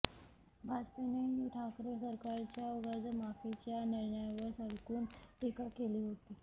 भाजपनेही ठाकरे सरकारच्या कर्जमाफीच्या निर्णयावर सडकून टीका केली होती